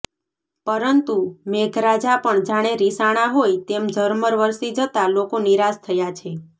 પરંતુ મેઘરાજા પણ જાણે રિસાણા હોય તેમ ઝરમર વરસી જતા લોકો નિરાશ થયા છે